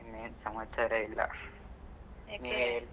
ಇನ್ನೆನ್, ಸಮಾಚಾರ ಇಲ್ಲ. .